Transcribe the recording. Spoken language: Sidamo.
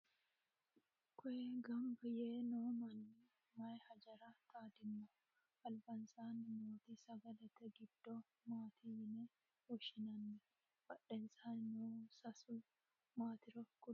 koye ganba yee noo manni maye hajara xaadinoho? albansaanni nooti sagalete giddo maati yine woshshinanni? badhensaanni noo seesi maatiro kuli?